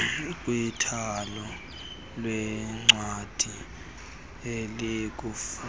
kwithala leencwadi elikufutshane